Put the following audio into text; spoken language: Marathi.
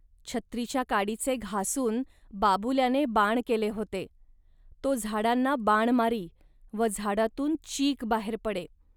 छत्रीच्या काडीचे घासून बाबुल्याने बाण केले होते. तो झाडांना बाण मारी व झाडातून चीक बाहेर पडे